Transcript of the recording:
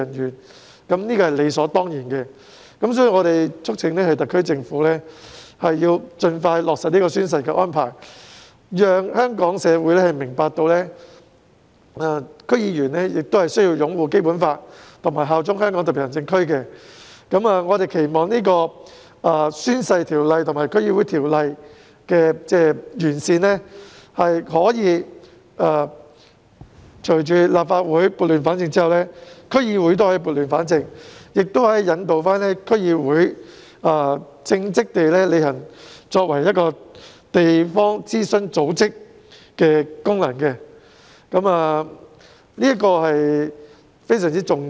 因此，有關安排是理所當然的，所以我們促請特區政府盡快落實宣誓安排，讓香港社會明白，區議員亦須擁護《基本法》和效忠香港特區。我們期望，《宣誓及聲明條例》和《區議會條例》的完善在立法會撥亂反正後，亦可以將區議會撥亂反正，引導區議會稱職地履行作為地方諮詢組織的功能，這點非常重要。